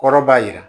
Kɔrɔ b'a jira